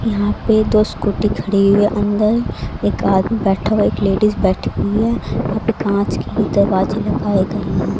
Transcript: यहां पे दो स्कूटी खड़ी हुई है अंदर एक आदमी बैठा हुआ है एक लेडिस बैठी हुई है यहां पे कांच के दरवाजे लगाए गए हैं।